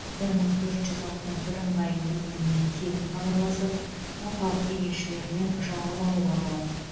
бір мың төрт жүз алты бірыңғай нөміріне тегін хабарласып орталық кеңесшілерінен жауап алуға болады